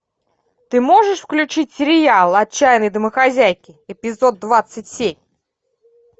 ты можешь включить сериал отчаянные домохозяйки эпизод двадцать семь